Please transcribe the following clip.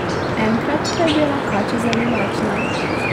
Enkrat pa je bila kača zelo lačna.